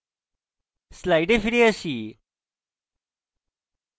slides ফিরে আসি